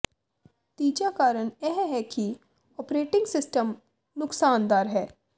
ਤੀਜਾ ਕਾਰਨ ਇਹ ਹੈ ਕਿ ਓਪਰੇਟਿੰਗ ਸਿਸਟਮ ਨੁਕਸਦਾਰ ਹੈ